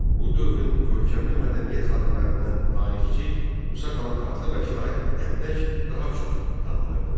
Bu dövrün görkəmli mədəniyyət xadimlərindən tarixçi Musa Kalanqatlı və şair Dəvdək daha çox tanınırdılar.